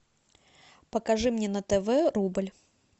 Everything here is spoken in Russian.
покажи мне на тв рубль